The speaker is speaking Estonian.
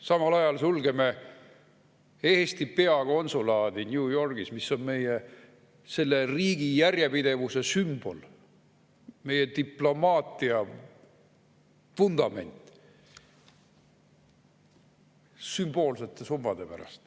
Samal ajal sulgeme Eesti peakonsulaadi New Yorgis, mis on meie riigi järjepidevuse sümbol, meie diplomaatia vundament, sümboolsete summade pärast.